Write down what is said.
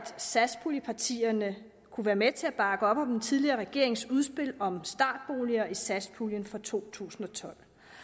satspuljepartierne kunne være med til at bakke op om den tidligere regerings udspil om startboliger i satspuljen for to tusind og tolv